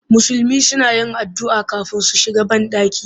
Musulmi suna yin addu'a kafin su shiga banɗaki